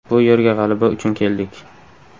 Bu yerga g‘alaba uchun keldik.